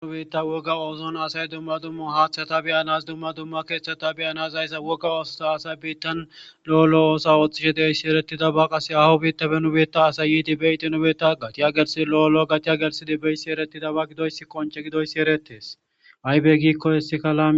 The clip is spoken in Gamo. qnubiitta wogga ooson asay dumma dumma haaththata beyanas dumma dumma keeththata beyanas ayssa wogga oososa asay biittan lo7olo oosa ooththishe deeyssi eretida ba qase awu biittafe nubetta asay yiti beytinobeta gatiya gersid lo7olo gatiya gersi di beysi erettida ba gidoyss qonce gidoyssi erettes aybe giikko issikala